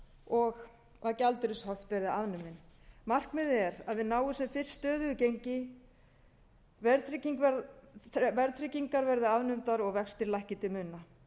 og að gjaldeyrishöft verði afnumin markmiðið er að við náum sem fyrst stöðugu gengi verðtryggingar verði afnumdar og vextir lækki til muna